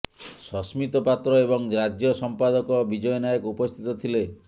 ସସ୍ମିତ ପାତ୍ର ଏବଂ ରାଜ୍ୟ ସଂପାଦକ ବିଜୟ ନାୟକ ଉପସ୍ଥିତ ଥିଲେ